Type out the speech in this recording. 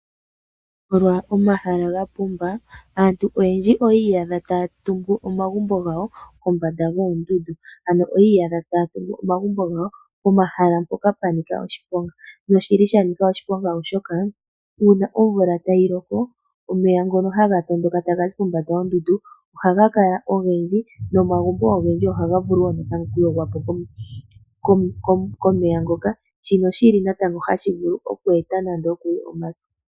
Molwa omahala gapumba aantu oyendji oyi iyadha taya tungu omagumbo gawo kombanda dhoondundu, ano oyi iyadha taya tungu omagumbo gawo pomahala mpoka pwanika oshiponga, noshili shanika oshiponga oshoka uuna omvula tayi loko omeya ngono haga tondoka taga zi pombanda yoondundu ohaga kala ogendji nomagumbo ogendji ohaga vulu wo natango okuyogwa po komeya ngoka, shino shili natango hashi vulu eku eta nando okuli omaso.